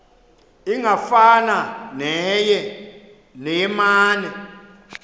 ingafana neye mane